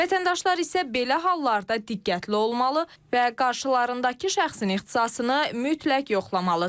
Vətəndaşlar isə belə hallarda diqqətli olmalı və qarşılarındakı şəxsin ixtisasını mütləq yoxlamalıdır.